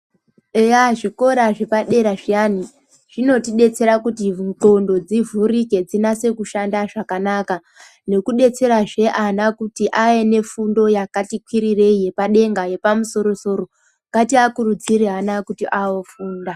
Eya, zvikora zvepadera zviyani zvinotidetsera kuti ndxondo dzivhurike dzinase kushanda zvakanaka, nekudetserazve ana kuti avenefundo yakati kwirirei yepadenga yepamusoro-soro. Ngatiakurudzire ana aya kuti aofunda.